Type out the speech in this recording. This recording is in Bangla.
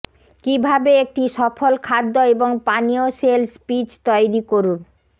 কিভাবে একটি সফল খাদ্য এবং পানীয় সেলস পিচ তৈরি করুন